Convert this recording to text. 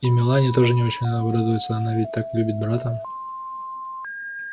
и мелани тоже не очень-то обрадуется она ведь так любит брата